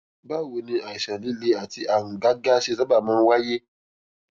báwo ni àìsàn líle àti àrùn gágá ṣe sábà máa ń wáyé